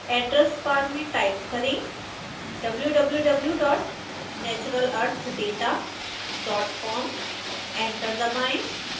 address bar में type करें wwwnaturalearthdatacom enter दबाएं